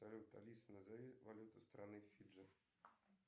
салют алиса назови валюту страны фиджи